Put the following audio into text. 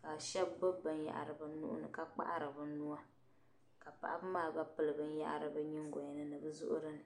ka shɛba gbubi binyɛhiri bɛ nuhi ni ka kpahiri bɛ nuu, ka paɣiba maa gba pili binyɛra bɛ nyingɔni nibi zuɣurini.